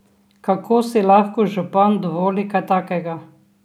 Kako si lahko župan dovoli kaj takega?